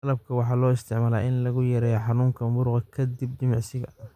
Malabka waxaa loo isticmaalaa in lagu yareeyo xanuunka muruqa ka dib jimicsiga.